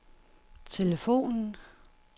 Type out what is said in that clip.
telefonen